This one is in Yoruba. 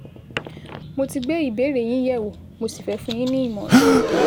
Mo ti gbé ìbéèrè yín yẹ̀wò, mo sì fẹ́ fún yín ní ìmọ̀ràn kan